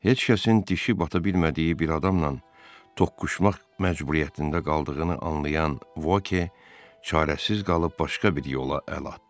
Heç kəsin dişi bata bilmədiyi bir adamla toqquşmaq məcburiyyətində qaldığını anlayan Voke çarəsiz qalıb başqa bir yola əl atdı.